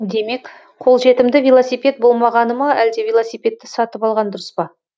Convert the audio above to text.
демек қолжетімді велосипед болмағаны ма әлде велосипедті сатып алған дұрыс па